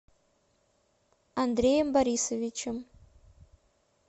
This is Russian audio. андреем борисовичем